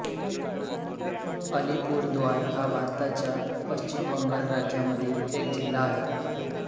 अलिपूरद्वार हा भारताच्या पश्चिम बंगाल राज्यामधील एक जिल्हा आहे